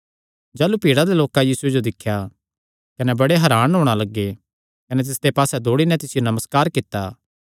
जाह़लू भीड़ा दे लोकां यीशुये जो दिख्या कने बड़े हरान होणा लग्गे कने तिसदे पास्से दौड़ी नैं तिसियो नमस्कार कित्ता